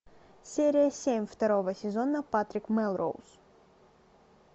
серия семь второго сезона патрик мелроуз